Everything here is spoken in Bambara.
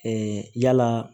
yala